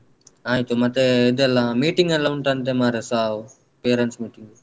ಆಯ್ತು ಮತ್ತೇ ಇದೆಲ್ಲಾ meeting ಎಲ್ಲ ಉಂಟಂತೆ ಮಾರೆ ಸಾವು parents meeting .